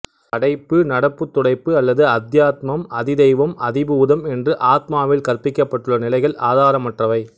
படைப்புநடப்புதுடைப்பு அல்லது அத்யாத்மம்அதிதைவம்அதிபூதம் என்று ஆத்மாவில் கற்பிக்கப்பட்டுள்ள நிலைகள் ஆதாரமற்றவை